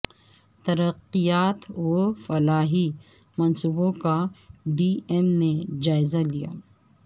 ترقیاتی و فلاحی منصوبوں کا ڈی ایم نے جائزہ لیا